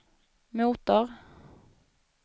motor